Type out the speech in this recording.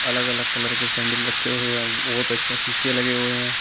अलग अलग कलर के सैंडिल रखे हुए हैं। बोहोत अच्छे शीशे लगे हुए हैं।